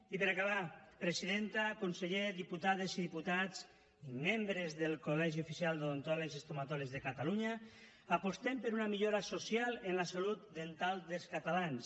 i per acabar presidenta conseller diputades i diputats i membres del col·legi oficial d’odontòlegs i estomatòlegs de catalunya apostem per una millora social en la salt dental dels catalans